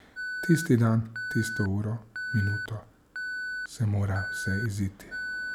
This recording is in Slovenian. Tisti dan, tisto uro, minuto se mora vse iziti.